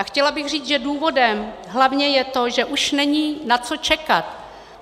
A chtěla bych říct, že důvodem je hlavně to, že už není na co čekat.